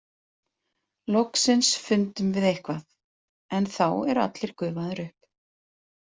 Loksins fundum við eitthvað en þá eru allir gufaðir upp.